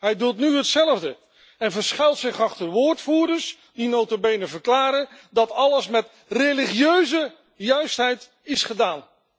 Hij doet nu hetzelfde en verschuilt zich achter woordvoerders die nota bene verklaren dat alles met religieuze juistheid is gedaan.